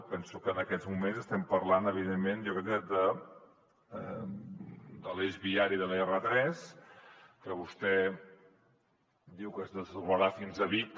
penso que en aquests moments estem parlant evidentment jo crec que de l’eix viari de l’r3 que vostè diu que es desdoblarà fins a vic